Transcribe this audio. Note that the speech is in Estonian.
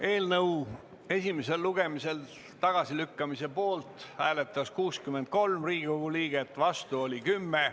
Eelnõu esimesel lugemisel tagasilükkamise poolt hääletas 63 Riigikogu liiget, vastu oli 10.